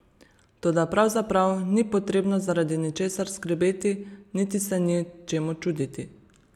Toda pravzaprav ni potrebno zaradi ničesar skrbeti niti se ni čemu čuditi.